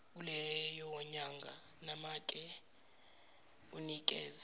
kuleyonyanga nomake unikeze